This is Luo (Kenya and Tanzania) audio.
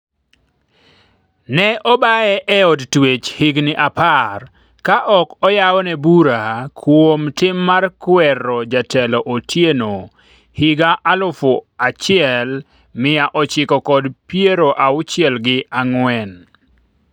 ne obaye e od twech higni apar ka ok oyawne bura kuom tim mar kwero jatelo Otieno higa alufu achiel mia ochiko kod piero auchiel gi ang'wen